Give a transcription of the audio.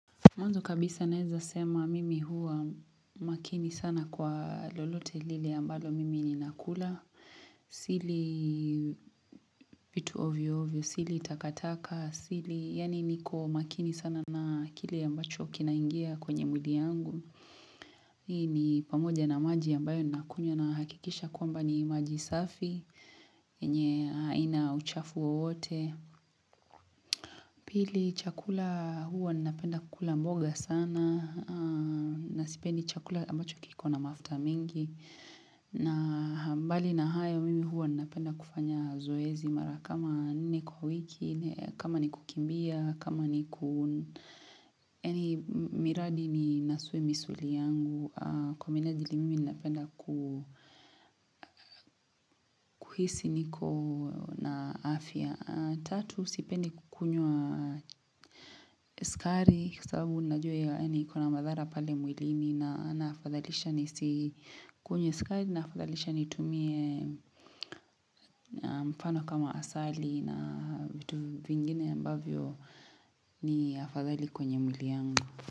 Mwanzo kabisa naweza sema mimi huwa makini sana kwa lolote lile ambalo mimi ninakula. Sili vitu ovyo ovyo, sili takataka, sili yani niko makini sana na kile ambacho kinaingia kwenye mwili yangu. Ni pamoja na maji ambayo ninakunywa nahakikisha kwamba ni maji safi, yenye haina uchafu wowote. Pili chakula huwa ninapenda kukula mboga sana na sipendi chakula ambacho kiko na mafuta mingi na mbali na hayo mimi huwa ninapenda kufanya zoezi mara kama nne kwa wiki, kama ni kukimbia, kama ni miradi ni nasue misuli yangu. Kwa minajili mimi ninapenda ku kuhisi niko na afya. Tatu sipeni kukunywa sukari kwa sababu ninajua yaani ikona madhara pale mwilini naafadhalisha nisikunywe sukari naafadhalisha nitumie mfano kama asali na vitu vingine ambavyo ni afadhali kwenye mwili wangu.